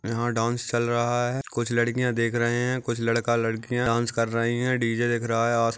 यहाँ डास चल रहा है कुछ लड़कियाँ देख रहा है कुछ लड़का-लड़की डास कर रही है डी_जे दिख रहा है आस --